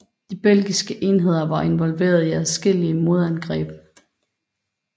De belgiske enheder var involveret i adskillige modangreb